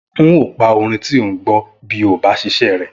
N óò pa orin tí o ń gbọ́ bí o ò bá ṣiṣẹ́ rẹ!